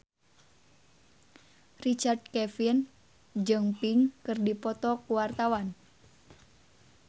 Richard Kevin jeung Pink keur dipoto ku wartawan